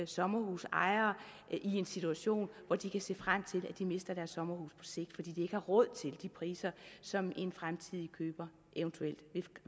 sommerhusejere i en situation hvor de kan se frem til at de mister deres sommerhus på sigt fordi de ikke har råd til de priser som en fremtidig køber eventuelt